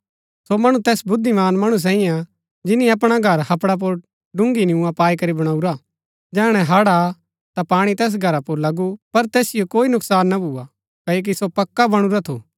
सो मणु तैस बुद्धिमान मणु सैईऐ हा जिनी अपणा घर हपड़ा पुर डूगी नियूँआ पाई करी वणुऊरा जैहणै हड़ आ ता पाणी तैस घरा पुर लगु पर तैसिओ कोई नुकसान ना भुआ क्ओकि सो पक्का बणुरा थु